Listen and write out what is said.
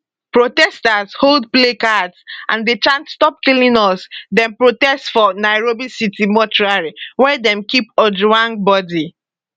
protesters hold placards and dey chant stop killing us dem protest for nairobi city mortuary wia dem keep ojwang body